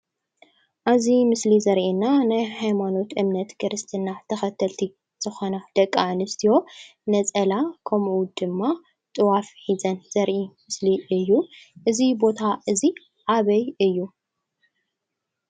ኣብ'ዚ ምስሊ ዘርእየና ናይ ሃይማኖት እምነት ክርስትና ተከተልቲ ዝኮና ደቂ ኣነስትዮ ነፀላ ከምኡ ድማ ጥዋፍ ሒዘን ዘርእይ ምስሊ እዩ፡፡ እዚ ቦታ እዚ ኣበይ እዩ?